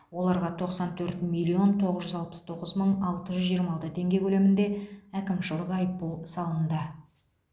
оларға тоқсан төрт миллион тоғыз жүз алпыс тоғыз мың алты жүз жиырма алты теңге көлемінде әкімшілік айыппұл салынды